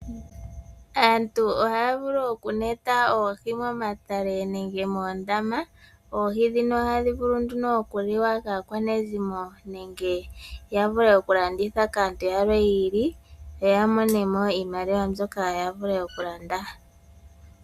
Aantu ohaya vulu okuneta oohi momatale nenge moondama. Oohi dhino ohadhi vulu nduno oku liwa kaakwanezimo nenge ya vule okulanditha kaantu yamwe yiili yo ya mone mo iimaliwa mbyoka ya vule oku landa.